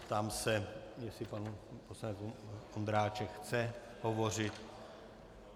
Ptám se, jestli pan poslanec Ondráček chce hovořit.